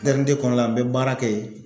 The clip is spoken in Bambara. kɔnɔla an be baara kɛ ye